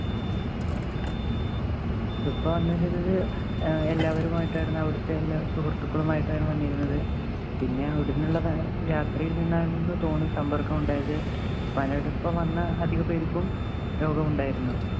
ഉപ്പ വന്നിട്ട് ഏർ എല്ലാവരുമായിട്ടാണ് അവിടത്തെ സുഹൃത്തുക്കളുമായിട്ടാണ് വന്നിരുന്നത്. പിന്നെ ഇവിടുന്നിള്ള രാത്രിയിൽ നിന്നാണെന്ന് തോനുന്നു സമ്പർക്കമുണ്ടായത്. ഉപ്പാനോടൊപ്പം വന്ന അധിക പേർക്കും രോഗമുണ്ടായിരുന്നു.